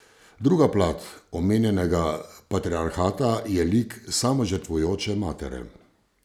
Druga plat omenjenega patriarhata je lik samožrtvujoče matere.